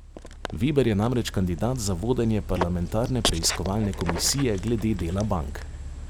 Veber je namreč kandidat za vodenje parlamentarne preiskovalne komisije glede dela bank.